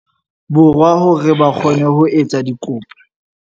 Borwa hore ba kgone ho etsa dikopo.